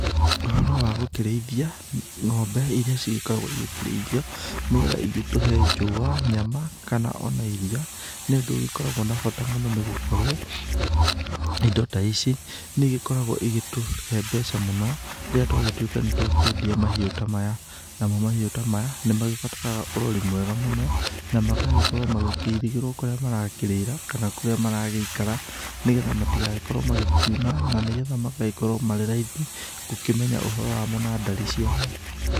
Ũhoro wa gũkĩrĩithia ng'ombe iria cigĩkoragwo igĩkĩrĩithio, nĩgetha igĩtũhe njũa, nyama o na kana iria, nĩ ũndũ ũgĩkoragwo na bata mũno nĩ gũkorwo indo ta ici nĩ igĩkoragwo igĩtũhe mbeca mũno rĩrĩa twagĩtuĩka nĩ twakĩendia mahiũ ta maya. Namo mahĩũ ta maya nĩ magĩbataraga ũrori mwega mũno, na magagĩkorwo magĩkĩirigĩrwo kũrĩa marakĩrĩra kana kũrĩa maragĩikara nĩgetha matigagĩkorwo magĩkiuna na nĩ getha magagĩkorwo marĩ raithi gũkĩmenya ũhoro wamo na ndari ciamo.